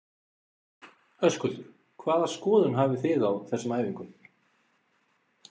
Höskuldur: Hvaða skoðun hafi þið á þessum æfingum?